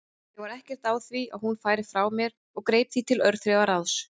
Ég var ekkert á því að hún færi frá mér og greip því til örþrifaráðs.